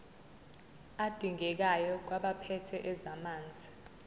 adingekayo kwabaphethe ezamanzi